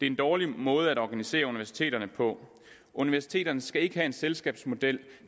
en dårlig måde at organisere universiteterne på universiteterne skal ikke have en selskabsmodel